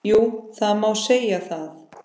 Jú, það má segja það.